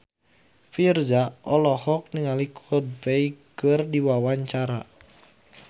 Virzha olohok ningali Coldplay keur diwawancara